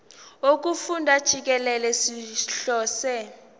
wokufunda jikelele sihlose